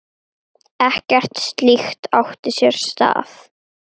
Ekkert slíkt átti sér stað.